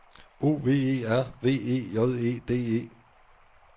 O V E R V E J E D E